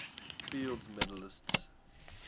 fields medalists